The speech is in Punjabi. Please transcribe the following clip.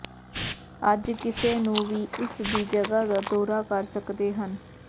ਅੱਜ ਕਿਸੇ ਨੂੰ ਵੀ ਇਸ ਦੀ ਜਗ੍ਹਾ ਦਾ ਦੌਰਾ ਕਰ ਸਕਦੇ ਹਨ